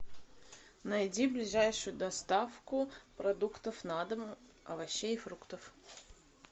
найди ближайшую доставку продуктов на дом овощей и фруктов